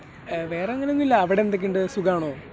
വേറെ അങ്ങനെയൊന്നുമില്ല. അവിടെ എന്തൊക്കെയുണ്ട് ? സുഖമാണോ ?